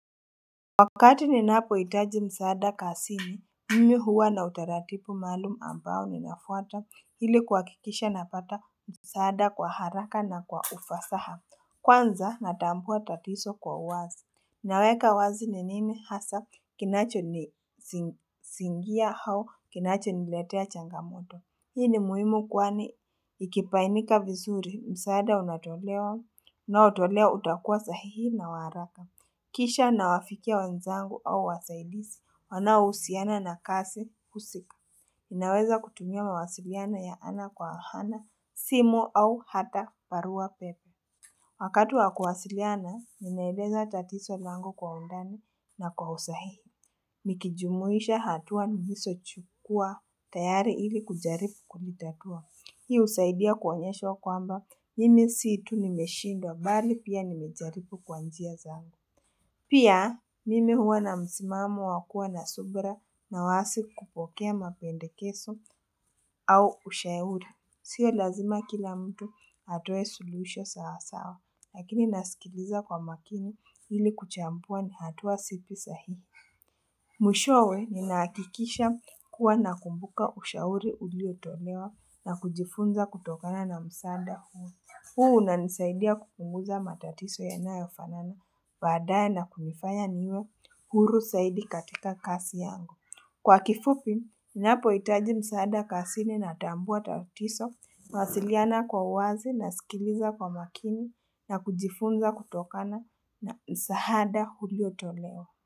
Wakati ninapohitaji msaada kazini mimi huwa na utaratibu maalum ambao ninafuata ili kuhakikisha napata msaada kwa haraka na kwa ufasaha kwanza natambua tatizo kwa uwazi Naweka wazi nini hasa kinachonisingia hao kinachoniletea changamoto. Hii ni muhimu kwani ikibainika vizuri msaada unaotolewa utakuwa sahihi na wa haraka Kisha nawafikia wanzangu au wasaidizi, wanaohusiana na kazi husika. Ninaweza kutumia mawasiliano ya ana kwa ana, simu au hata barua pepe. Wakati wa kuwasiliana, ninaeleza tatizo langu kwa undani na kwa usahihi. Nikijumuisha hatua nilizochukua tayari ili kujaribu kulitatua. Hii husaidia kuonyeshwa kwamba, mimi si tu nimeshindwa, bali pia nimejaribu kwa njia zangu. Pia, mimi huwa na msimamo wakuwa na subra na wasi kupokea mapendekezo au ushauri. Sio lazima kila mtu atoe suluwisho sawa sawa, lakini nasikiliza kwa makini hili kuchambua ni hatua zipi sahi. Mwishowe ninahakikisha kuwa nakumbuka ushauri uliotolewa na kujifunza kutokana na msaada huu. Huu unanisaidia kupunguza matatizo yanayo fanana baadae na kunifanya niwe huru zaidi katika kazi yangu. Kwa kifupi, ninapohitaji msaada kazini natambua tatizo, nawasiliana kwa uwazi na sikiliza kwa makini na kujifunza kutokana na msaada ulio tolewa.